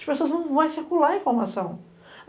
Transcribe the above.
As pessoas vão circular a informação.